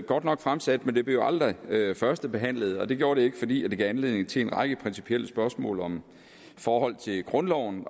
godt nok fremsat men det blev aldrig førstebehandlet og det gjorde det ikke fordi det gav anledning til en række principielle spørgsmål om forholdet til grundloven